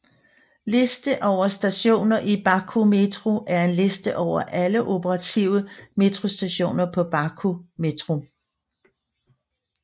Liste over stationer i Baku Metro er en liste over alle operative metrostationer på Baku Metro